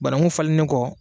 Banaku falennen kɔ